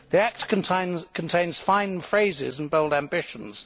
The Act contains fine phrases and bold ambitions.